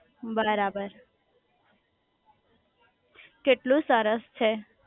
બરાબર કેટલું સરસ છે